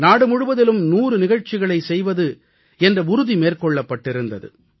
நாடுமுழுவதிலும் 100 நிகழ்ச்சிகளைச் செய்வது என்ற உறுதி மேற்கொள்ளப்பட்டிருந்தது